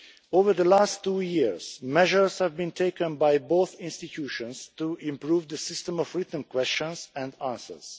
Over the last two years, measures have been taken by both institutions to improve the system of written questions and answers.